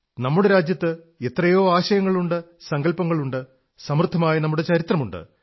നമ്മുടെ രാജ്യത്ത് എത്രയോ ആശയങ്ങളുണ്ട് സങ്കല്പങ്ങളുണ്ട് സമൃദ്ധമായ നമ്മുടെ ചരിത്രമുണ്ട്